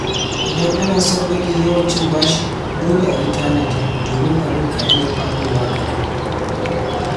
Idan ana son rage yawan cin bashi, dole a yi tanadi domin abin ka iya faɗowa gagab.